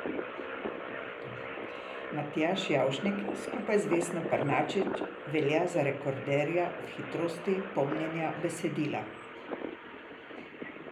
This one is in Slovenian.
Matjaž Javšnik skupaj z Vesno Pernarčič velja za rekorderja v hitrosti pomnjenja besedila.